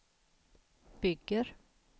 bygger